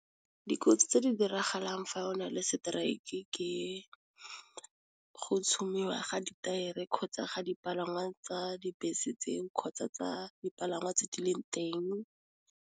Dikotsi tse di diragalang fa o na le strike ke go tšhumiwa ga ditaere kgotsa ga dipalangwa tsa dibese tseo kgotsa tsa dipalangwa tse di leng teng.